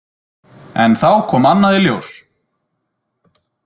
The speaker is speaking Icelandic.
En þá kom annað í ljós.